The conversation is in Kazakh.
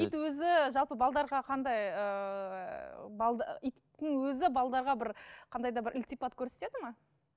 ит өзі жалпы қандай ыыы иттің өзі бір қандай да бір ілтипат көрсетеді ме